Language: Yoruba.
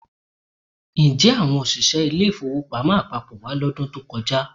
Ǹjẹ́ àwọn òṣìṣẹ́ ilé-ìfowópamọ́ àpapọ̀ wá lọ́dún tó kọjá?